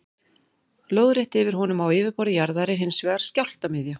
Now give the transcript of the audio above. Lóðrétt yfir honum á yfirborði jarðar er hins vegar skjálftamiðja.